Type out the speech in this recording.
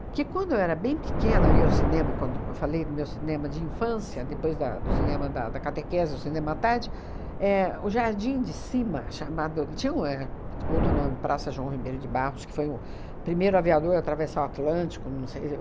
Que, quando eu era bem pequena, eu ia ao cinema, quando eu falei do meu cinema de infância, depois da do cinema da da catequese, o cinema à tarde, éh o Jardim de Cima, chamado... tinha o éh outro nome, Praça João Ribeiro de Barros, que foi o primeiro aviador a atravessar o Atlântico não sei